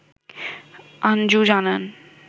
আঞ্জু জানান